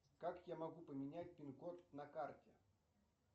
как я могу поменять пин код на карте